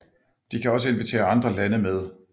De kan også invitere andre lande med